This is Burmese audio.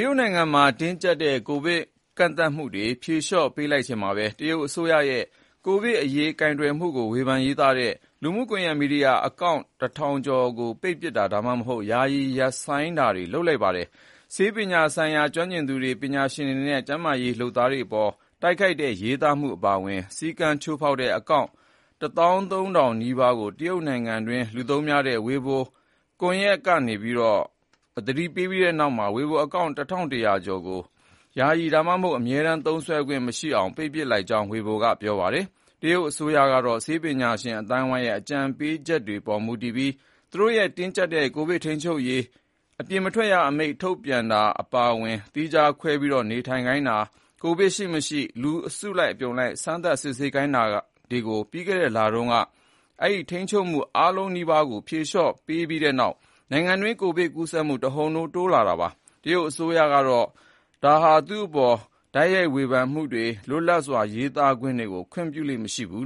ရုတ်နိုင်ငံမှာ တင်းကြပ်တဲ့ ကိုဗစ်ကန့်သတ်မှုတွေ ဖြေလျှော့ပေးလိုက်ချိန်မှာပဲ တရုတ်အစိုးရရဲ့ ကိုဗစ်အရေး ကိုင်တွယ်မှုကို ဝေဖန်ရေးသားတဲ့ လူမှုကွန်ယက် မီဒီယာအကောင့်(၁,၀၀၀)ကျော်ကို ပိတ်ပစ်တာ ဒါမှမဟုတ် ယာယီ ရပ်ဆိုင်းပစ်တာတွေ လုပ်လိုက်ပါတယ်။ ဆေးပညာဆိုင်ရာ ကျွမ်းကျင်သူတွေ၊ ပညာရှင်တွေနဲ့ ကျန်းမာရေး လုပ်သားတွေအပေါ် တိုက်ခိုက်တဲ့ ရေးသားမှု အပါအဝင် စည်းမျဉ်း ချိုးဖေါက်တဲ့ အကောင့်(၁၃,၀၀၀) နီးပါးကို တရုတ်နိုင်ငံတွင်း လူသုံးများတဲ့ Sina Weibo ဝေဘို လူမှုကွန်ယက်ကုမ္ပဏီက သတိပေးခဲ့ပြီးနောက် Weibo account (၁,၁၀၀)ကျော်ကို ယာယီ ဒါမှမဟုတ် အမြဲတမ်း သုံးခွင့်မရှိအောင် ပိတ်ပစ်လိုက်ကြောင်း Weibo က ပြောပါတယ်။ တရုတ်အစိုးရက ဆေးပညာရှင် အသိုင်းအဝိုင်းရဲ့ အကြံပေးချက်တွေပေါ်မူတည်ပြီး သူ့ရဲ့တင်းကြပ်တဲ့ ကိုဗစ်ထိန်းချုပ်နိုင်ရေး အပြင်မထွက်ရအမိန့် ထုတ်ပြန်တာ၊ သီးခြားခွဲပြီး နေထိုင်ခိုင်းတာ၊ ကိုဗစ် ရှိမရှိ လူအစုအပြုံလိုက် စမ်းသပ် စစ်ဆေးခိုင်းနေရာကနေ ပြီးခဲ့တဲ့လတုန်းက ဒီထိန်းချုပ်မှု အားလုံးနီးပါးကို ဖြေလျှော့ပေးလိုက်တဲ့နောက် နိုင်ငံတွင်း ကိုဗစ်ကူးစက်မှု တဟုန်ထိုး မြင့်တက်လာတာပါ။ တရုတ်အစိုးရဟာ သူ့အပေါ် တိုက်ရိုက်ဝေဖန်မှုရော ၊ လွတ်လပ်စွာ ရေးသားပြောဆိုမှုကိုပါ ခွင့်ပြုလေ့ မရှိပါဘူး